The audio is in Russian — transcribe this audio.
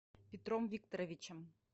петром викторовичем